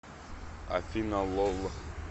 афина лол